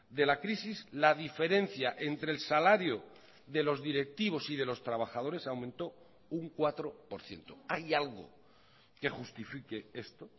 de la crisis la diferencia entre el salario de los directivos y de los trabajadores aumentó un cuatro por ciento hay algo que justifique esto